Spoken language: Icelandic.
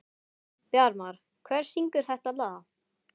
Bjarmar, hver syngur þetta lag?